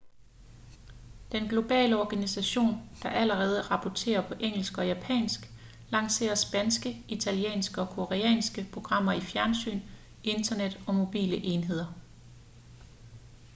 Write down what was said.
den globale organisation der allerede rapporterer på engelsk og japansk lancerer spanske italienske og koreanske programmer til fjernsyn internet og mobile enheder